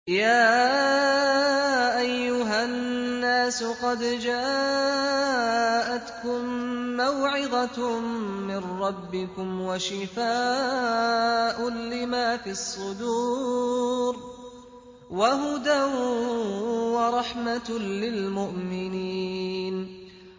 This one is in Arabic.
يَا أَيُّهَا النَّاسُ قَدْ جَاءَتْكُم مَّوْعِظَةٌ مِّن رَّبِّكُمْ وَشِفَاءٌ لِّمَا فِي الصُّدُورِ وَهُدًى وَرَحْمَةٌ لِّلْمُؤْمِنِينَ